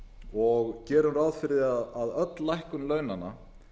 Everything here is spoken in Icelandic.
og gerum ráð fyrir því að öll lækkun launanna